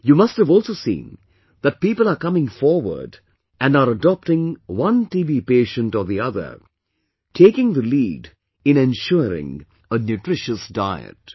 You must have also seen that people are coming forward and are adopting one TB patient or the other, taking the lead in ensuring a nutritious diet